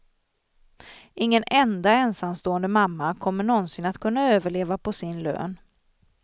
Ingen enda ensamstående mamma kommer nånsin att kunna överleva på sin lön.